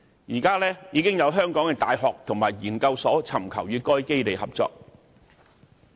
現時，已有香港的大學和研究所尋求與該基地合作。